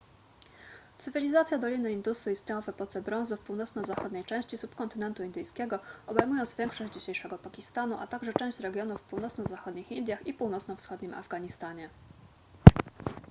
cywilizacja doliny indusu istniała w epoce brązu w północno-zachodniej części subkontynentu indyjskiego obejmując większość dzisiejszego pakistanu a także część regionów w północno-zachodnich indiach i północno-wschodnim afganistanie